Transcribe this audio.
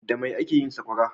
Da mai ake yin saƙwara?